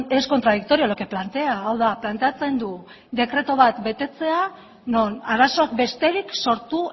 es contradictorio lo que plantea hau da planteatzen du dekretu bat betetzea non arazoak besterik sortu